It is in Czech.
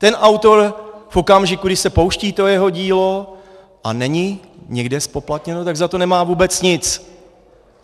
Ten autor v okamžiku, kdy se pouští to jeho dílo a není nikde zpoplatněno, tak za to nemá vůbec nic.